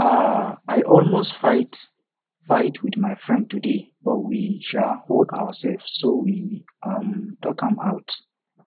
um i almost fight fight with my friend today but we um hold ourselves so we um talk am out